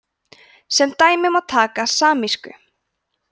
sem dæmi má taka samísku